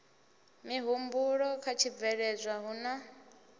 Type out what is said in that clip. mihumbulo kha tshibveledzwa hu na